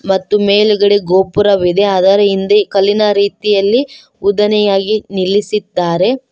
ಮತ್ತು ಮೇಲುಗಡೆ ಗೋಪುರವಿದೆ ಅದರ ಹಿಂದೆ ಕಲ್ಲಿನ ರೀತಿಯಲ್ಲಿ ಉದ್ದನೆಯಾಗಿ ನಿಲ್ಲಿಸಿದ್ದಾರೆ.